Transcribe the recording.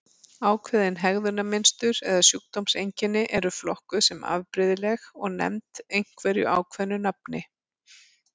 Ákveðin hegðunarmynstur eða sjúkdómseinkenni eru flokkuð sem afbrigðileg og nefnd einhverju ákveðnu nafni.